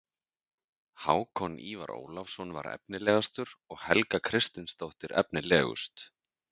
Hákon Ívar Ólafsson var efnilegastur og Helga Kristinsdóttir efnilegust.